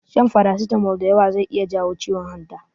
Shan farasitamol da yawa zai iya jawo ciwon hanta.